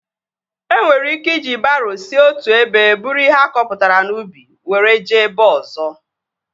E nwere ike iji baroo si otu ebe buru ihe akọpụtara n'ubi were jee ebe ọzọ